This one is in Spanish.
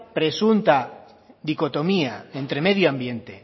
presunta dicotomía entre medioambiente